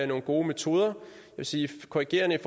nogle gode metoder jeg vil sige korrigerende at